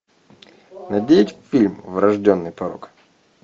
найди фильм врожденный порок